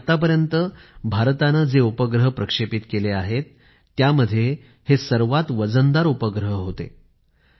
आणि आतापर्यंत भारताने जे उपग्रह प्रक्षेपित केले आहेत त्यामध्ये हे सर्वात वजनदार उपग्रह होते